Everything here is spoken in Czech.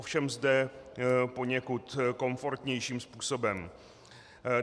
Ovšem zde poněkud komfortnějším způsobem.